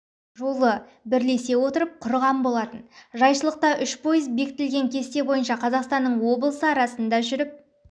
жолы бірлесе отырып құрған болатын жайшылықта үш пойыз бекітілген кесте бойынша қазақстанның облысы арасында жүріп